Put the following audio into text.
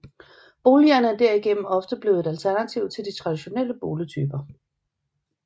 Boligerne er derigennem ofte blevet et alternativ til de traditionelle boligtyper